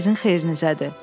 Bu sizin xeyrinizədir.